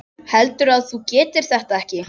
Heldurðu að þú getir þetta ekki?